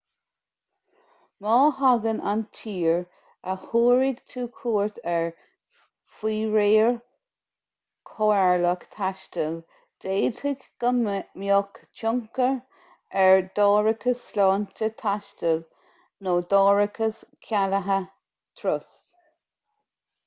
má thagann an tír a thabharfaidh tú cuairt air faoi réir comhairleach taistil d'fhéadfadh go mbeadh tionchar ar d'árachas sláinte taistil nó d'árachas cealaithe turais